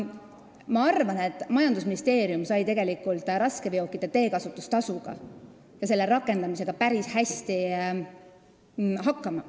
Ma arvan, et majandusministeerium sai raskeveokite teekasutustasuga ja selle rakendamisega tegelikult päris hästi hakkama.